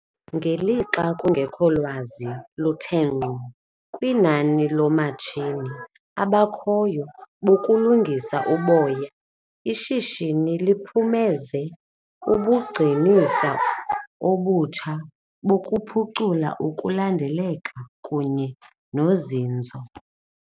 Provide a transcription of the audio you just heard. Ngelixa kungekholwazi luthengqo kwinani loomatshini abakhoyo bokulungisa uboya ishishini liphumenze ubugcinisa obutsha bokuphucula ukulandeleka kunye nozinzo.